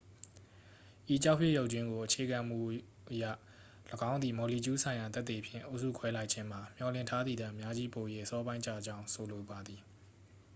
"""ဤကျောက်ဖြစ်ရုပ်ကြွင်းကိုအခြေခံမှုအရ၊ ၎င်းသည် မော်လီကျူးဆိုင်ရာသက်သေဖြင့် အုပ်စုခွဲလိုက်ခြင်းမှာ မျှော်လင့်ထားသည်ထက် အများကြီးပို၍ အစောပိုင်းကျကြောင်း ဆိုလိုပါသည်။